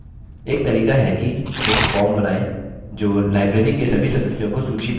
एक तरीका है कि एक form बनाएँ जो library के सभी सदस्यों को सूचीबद्ध करे